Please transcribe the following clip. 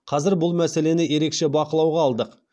қазір бұл мәселені ерекше бақылауға алдық